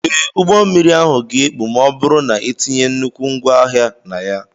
Ee, ụgbọ mmiri ahụ ga-ekpu ma ọ bụrụ na ha etinye nnukwu ngwaahịa na ya.